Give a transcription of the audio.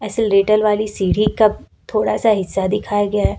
लेटल वाली सीढ़ी का थोड़ा सा हिस्सा दिखाया गया है।